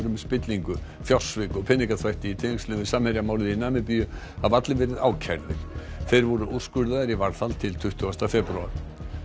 um spillingu fjársvik og peningaþvætti í tengslum við Samherja málið í Namibíu hafa allir verið ákærðir þeir voru úrskurðaðir í varðhald til tuttugasta febrúar